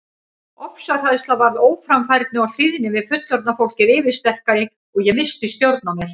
Ofsahræðsla varð óframfærni og hlýðni við fullorðna fólkið yfirsterkari og ég missti stjórn á mér.